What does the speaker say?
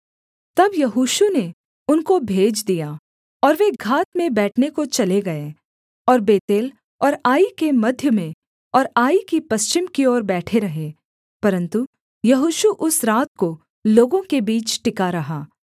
तब यहोशू ने उनको भेज दिया और वे घात में बैठने को चले गए और बेतेल और आई के मध्य में और आई की पश्चिम की ओर बैठे रहे परन्तु यहोशू उस रात को लोगों के बीच टिका रहा